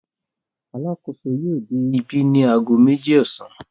Alákòóso yóò dé ibí ní ago méjì ọ̀sán.